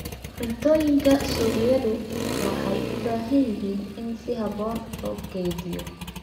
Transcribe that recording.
Cuntooyinka suuqyadu waxay u baahan yihiin in si habboon loo kaydiyo.